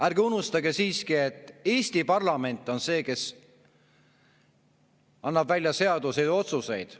Ärge unustage siiski, et Eesti parlament on see, kes annab välja seadusi ja otsuseid.